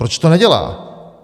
Proč to nedělá?